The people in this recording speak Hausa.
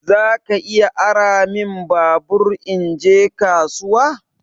Zaka iya ara min babur in je kasuwa?